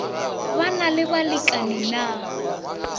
ba na le balekani na